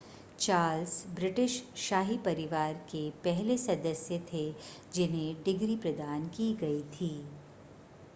Charles British शाही परिवार के पहले सदस्य थे जिन्हें डिग्री प्रदान की गई थी